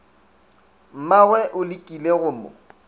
mmagwe o lekile go mo